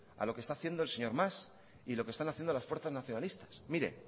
a lo que está haciendo el señor mas y lo que están haciendo las fuerzas nacionalistas mire